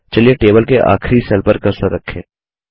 चलिए टेबल के आखिरी सेल पर कर्सर रखें